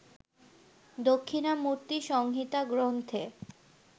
দক্ষিণামূর্তি সংহিতা গ্রন্থে